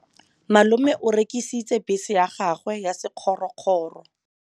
Malome o rekisitse bese ya gagwe ya sekgorokgoro.